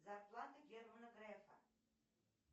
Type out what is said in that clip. зарплата германа грефа